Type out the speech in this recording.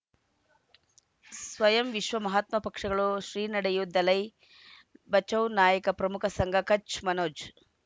ಸ್ವಯಂ ವಿಶ್ವ ಮಹಾತ್ಮ ಪಕ್ಷಗಳು ಶ್ರೀ ನಡೆಯೂ ದಲೈ ಬಚೌ ನಾಯಕ ಪ್ರಮುಖ ಸಂಘ ಕಚ್ ಮನೋಜ್